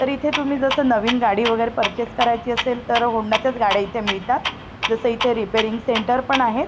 तर इथे तुम्ही जस नवीन गाडी वेगैरे पर्चेस करायची असेल तर होंडाच्याच गाड्या इथे मिळतात जस इथे रिपेरिंग सेंटर पण आहे.